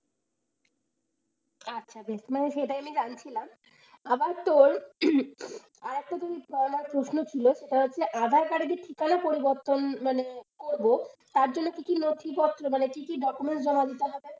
আচ্ছা বেশ মানে আমি সেটাই জানছিলাম আবার তোর আর একটা জিনিস প্রশ্ন ছিল সেটা হচ্ছে যে aadhaar card এ যে ঠিকানা পরিবর্তন মানে করব তার জন্য কি কি নথিপত্র মানে কি কি document জমা দিতে হবে?